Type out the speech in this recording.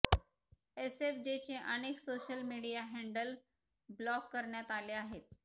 एसएफजेचे अनेक social media handle block करण्यात आले आहेत